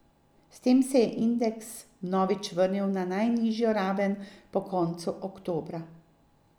S tem se je indeks vnovič vrnil na najnižjo raven po koncu oktobra.